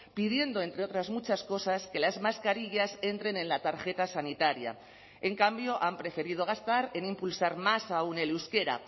pidiendo entre otras muchas cosas que las mascarillas entren en la tarjeta sanitaria en cambio han preferido gastar en impulsar más aún el euskera